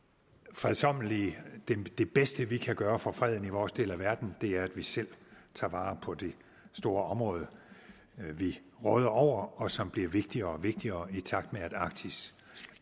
fredsommelige det bedste vi kan gøre for freden i vores del af verden er at vi selv tager vare på det store område vi råder over og som bliver vigtigere og vigtigere i takt med at arktis